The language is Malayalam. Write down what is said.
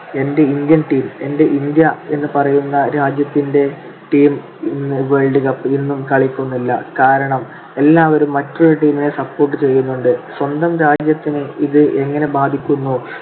എന്റെ ഇന്ത്യൻ team എന്റെ ഇന്ത്യ എന്ന് പറയുന്ന രാജ്യത്തിൻറെ team ഇന്ന് world cup ൽ ഇന്നും കളിക്കുന്നില്ല. കാരണം എല്ലാവരും മറ്റൊരു team നെ support ചെയ്യുന്നുണ്ട്. സ്വന്തം രാജ്യത്തിനെ ഇത് എങ്ങനെ ബാധിക്കുമോ